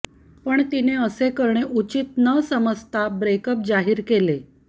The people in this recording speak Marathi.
पण तिने असे करणे उचित नसमजता ब्रेकअप जाहीर केले